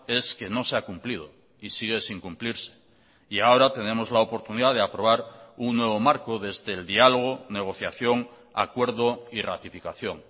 es que no se ha cumplido y sigue sin cumplirse y ahora tenemos la oportunidad de aprobar un nuevo marco desde el diálogo negociación acuerdo y ratificación